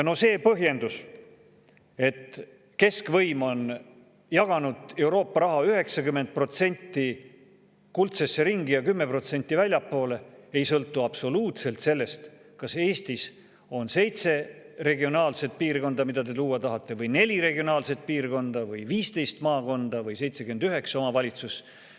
No see põhjendus, et keskvõim on jaganud Euroopa raha 90% kuldsesse ringi ja 10% väljapoole, ei sõltu absoluutselt sellest, kas Eestis on seitse regionaalselt piirkonda, mida te luua tahate, või neli regionaalset piirkonda või 15 maakonda või 79 omavalitsust.